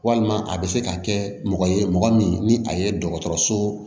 Walima a bɛ se ka kɛ mɔgɔ ye mɔgɔ min ni a ye dɔgɔtɔrɔso